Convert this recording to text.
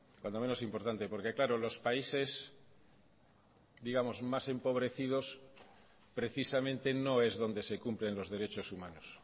cuando menos importante porque claro los países más empobrecidos precisamente no es donde se cumplen los derechos humanos